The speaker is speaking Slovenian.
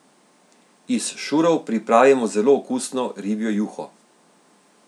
Iz šurov pripravimo zelo okusno ribjo juho.